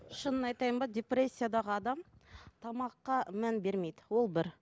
шынын айтайын ба депрессиядағы адам тамаққа мән бермейді ол бір